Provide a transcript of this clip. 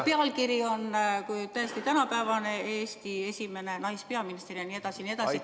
" Pealkiri on tõesti tänapäevane: Eesti esimene naispeaminiser jne.